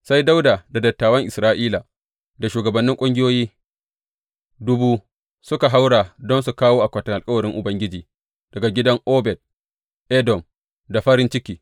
Sai Dawuda da dattawan Isra’ila da shugabannin ƙungiyoyi dubu suka haura don su kawo akwatin alkawarin Ubangiji daga gidan Obed Edom, da farin ciki.